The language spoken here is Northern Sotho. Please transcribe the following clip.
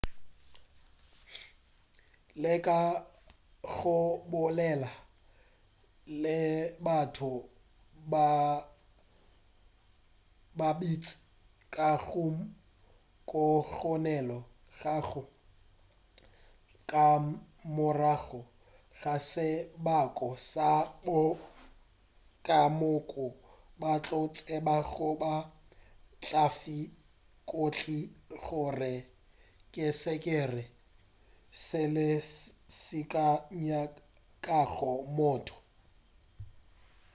leka go bolela le batho ba bantši ka moo go kgonegago ka morago ga sebaka batho ka moka ba tla go tseba gomme ba tla gofa dintlha gore ke sekepe sefe seo se nyakago motho